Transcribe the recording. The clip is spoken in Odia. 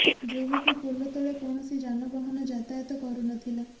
ଯୋଗକୁ ପୋଲ ତଳେ କୌଣସି ଯାନବାହନ ଯାତାୟାତ କରୁ ନ ଥିଲା